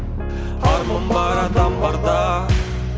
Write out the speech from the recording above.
арман бар адам барда